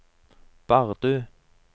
Bardu